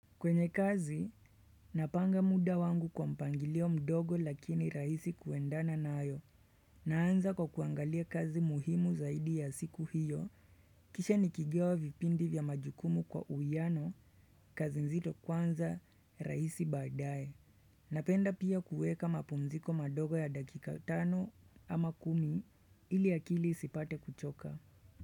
Kwenye kazi, napanga muda wangu kwa mpangilio mdogo lakini raisi kuendana na ayo. Naanza kwa kuangalia kazi muhimu zaidi ya siku hiyo, kisha nikigawa vipindi vya majukumu kwa uiano, kazi nzito kwanza raisi baadaye. Napenda pia kueka mapumziko madogo ya dakika tano ama kumi ili akili isipate kuchoka.